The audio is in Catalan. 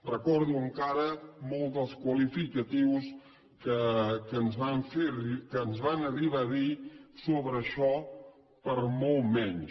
recordo encara molts dels qualificatius que ens van arribar a dir sobre això per molt menys